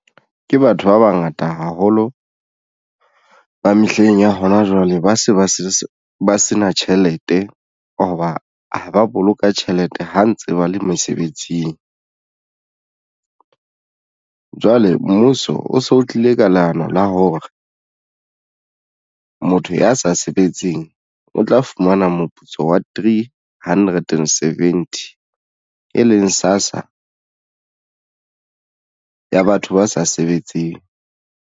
Ke batho ba bangata haholo ba mehleng ya hona jwale ba se na tjhelete hoba ha ba boloka tjhelete ha ntse ba le mesebetsing. Jwale mmuso o so o tlile ka leano la hore motho ya sa sebetseng o tla fumana moputso wa three hundred and seventy e leng SASSA ya batho ba sa sebetseng.